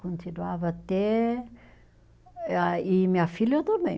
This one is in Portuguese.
Continuava até ah e minha filha também